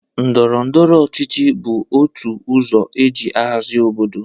Ndọrọndọrọ ọchịchị bụ otu ọzọ e ji ahazị obodo.